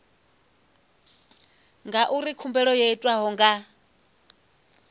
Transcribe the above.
ngauri khumbelo yo itwa nga